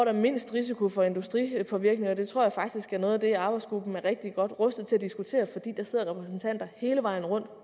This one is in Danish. er mindst risiko for industripåvirkninger og det tror jeg faktisk er noget af det arbejdsgruppen er rigtig godt rustet til at diskutere fordi der sidder repræsentanter hele vejen rundt